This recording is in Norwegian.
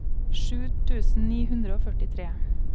sju tusen ni hundre og førtitre